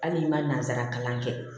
Hali n'i ma nanzara kalan kɛ